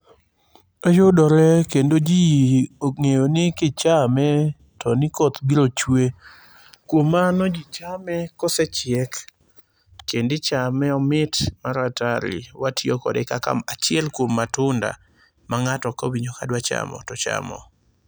Oyudore kendo ji ong'eyo ni kichame, to nikoth biro chwe. Kuom mano ji chame kosechiek, kendo ichame, omit mar atari kendo watiyo kode kaka achiel kuom matunda ma ng'ato kowinjo ka dwa chamo, tochamo.